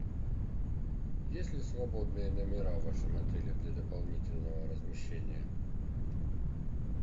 есть ли свободные номера в вашем отеле для дополнительного размещения